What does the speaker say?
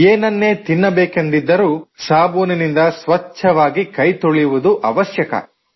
ಎನನ್ನೇ ತಿನ್ನಬೇಕೆಂದಿದ್ದರೂ ಸಾಬೂನಿನಿಂದ ಸ್ವಚ್ಛವಾಗಿ ಕೈ ತೊಳೆಯುವುದು ಅವಶ್ಯಕ